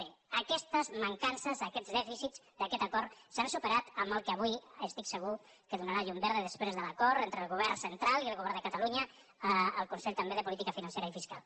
bé aquestes mancances aquests dèficits d’aquest acord s’han superat amb el que avui estic segur que donarà la llum verda després de l’acord entre el govern central i el govern de catalunya el consell també de política financera i fiscal